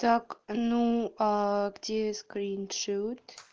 так ну аа где скриншот